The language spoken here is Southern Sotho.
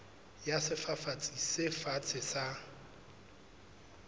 ya sefafatsi se fatshe sa